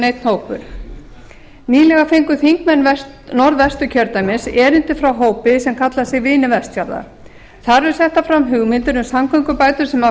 einn hópur nýlega fengu þingmenn norðvesturkjördæmis erindi frá hópi sem kallar sig vini vestfjarða þar eru settar fram hugmyndir um samgöngubætur sem fela